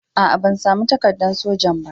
Aa, ban samu takaddan sojan ba.